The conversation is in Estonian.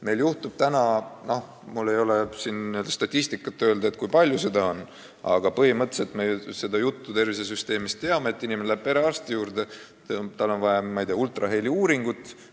Meil juhtub praegu nii – no mul ei ole siin käepärast statistikat, kui palju seda on, aga põhimõtteliselt me seda teame –, et inimene läheb perearsti juurde ja tal on vaja näiteks ultraheliuuringut.